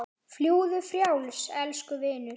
Fljúgðu frjáls, elsku vinur.